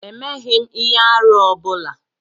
Emeghm ihe-árú ọ bula.